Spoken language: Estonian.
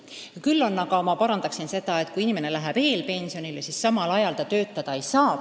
Ja ma parandaksin teie väidet toonitades, et kui inimene läheb eelpensionile, siis praegu ta samal ajal töötada ei saa.